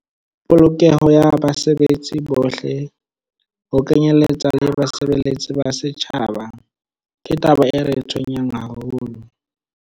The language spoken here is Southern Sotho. Polokeho ya basebetsi bohle, ho kenyeletswa le basebeletsi ba setjhaba, ke taba e re tshwenyang haholo.